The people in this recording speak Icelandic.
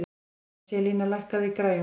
Angelía, lækkaðu í græjunum.